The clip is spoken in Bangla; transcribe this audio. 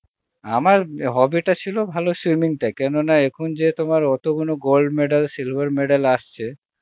আমার hobby টা ছিল ভালো swimming টা কেন না এখন যে তোমার অত গুণ gold medal, silver medal আসছে